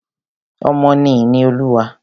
Ọmọ ni ìní Olúwa.